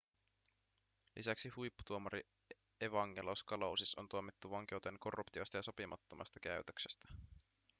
lisäksi huipputuomari evangelos kalousis on tuomittu vankeuteen korruptiosta ja sopimattomasta käytöksestä